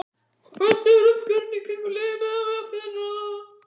Hvernig er umgjörðin í kringum liðið miðað við í fyrra?